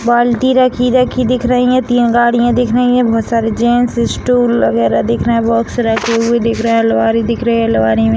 बाल्टी रखी-रखी दिख रही हैं तीन गाड़ियां दिख रही हैं बहुत सारे जेंट्स स्टूल वगैरह दिख रहे हैं बॉक्स रखे हुए दिख रहे हैं अलवारी दिख रहे हैं अलवारी में --